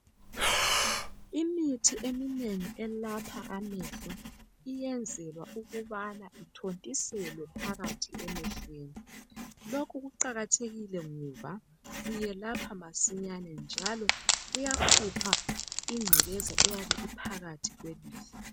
Imithi eminengi elapha amehlo iyenzelwa ukubana ithontiselwe phakathi emehlweni lokhu kuqakathekile ngoba kuyelapha masinyane njalo kuyakhupha ingcekeza eyabe iphakathi kwelihlo.